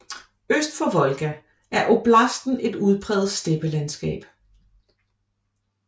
Øst for Volga er oblasten et udpræget steppelandskab